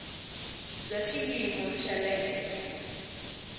bya xiyimo xa le henhla